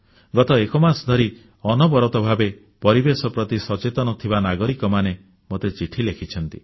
ଗତ ଏକମାସ ଧରି ଅନବରତ ଭାବେ ପରିବେଶ ପ୍ରତି ସଚେତନ ଥିବା ନାଗରିକମାନେ ମୋତେ ଚିଠି ଲେଖିଛନ୍ତି